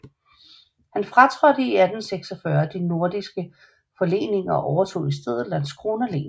Han fratrådte i 1646 de norske forleninger og overtog i stedet Landskrona len